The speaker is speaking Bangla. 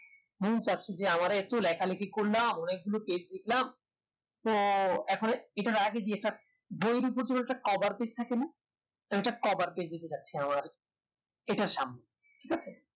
বহু কষ্ট দিয়ে আমরা লেখা লেখি করলাম অনেকগুলো page করলাম তো এবারে cover page থাকে না এটা cover page থাকতে হয় এটা শামুক